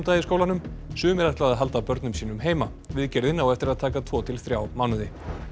í skólanum sumir ætla að halda börnum sínum heima viðgerðin á eftir að taka tvo til þrjá mánuði